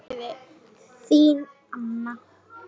Þín Anna.